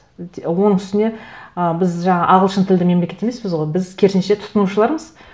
оның үстіне ы біз жаңағы ағылшын тілді мемлекет емеспіз ғой біз керісінше тұтынушылармыз